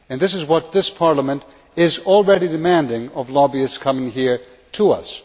And this is what this Parliament is already demanding of lobbyists coming here to us.